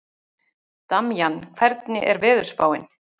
Damjan, hvernig er veðurspáin?